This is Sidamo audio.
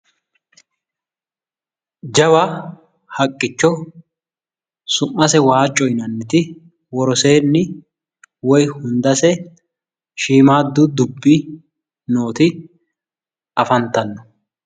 Jawa haqqicho su'mase waacco yinanniti woroseeni wiy hundase shiimmaaddu dubbi nooti nooti afantanno.